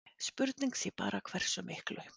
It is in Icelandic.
Spurning sé bara hversu miklu.